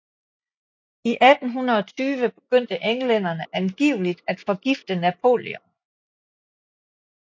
I 1820 begyndte englænderne angiveligt at forgifte Napoleon